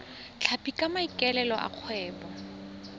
tlhapi ka maikaelelo a kgwebo